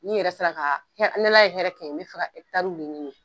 N'i yɛrɛ sera ka, ni Ala ye hɛrɛ kɛ n ye n bɛ fɛ ka ɲini